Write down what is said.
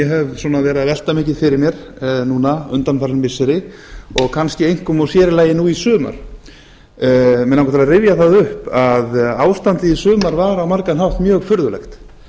hef verið að velta mikið fyrir mér núna undanfarin missiri og kannski einkum og sér í lagi núna í sumar mig langar til að rifja það upp að ástandið í sumar var á margan hátt mjög furðulegt